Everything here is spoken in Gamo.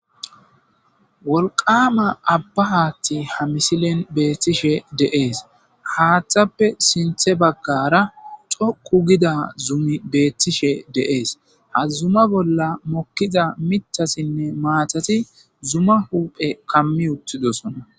Wolqama abba haathti ha misilen beettishe deees. Haaththappe sinthe baggara coqqu gida zumi beettishe deees. Ha zuma bolla mokkiza mitasinne maatati zuma huuphe kammi uttidosona.